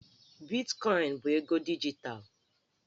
Bitkọịnụ bụ ego dijitalụ